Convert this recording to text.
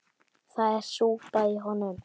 Það er súpa í honum.